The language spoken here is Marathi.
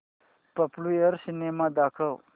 पॉप्युलर सिनेमा दाखव